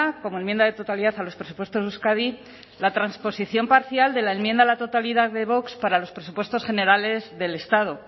como enmienda de totalidad a los presupuestos de euskadi la transposición parcial de la enmienda a la totalidad de vox para los presupuestos generales del estado